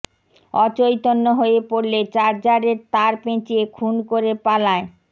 অচৈতন্য হয়ে পড়লে চার্জারের তার পেঁচিয়ে খুন করে পালায়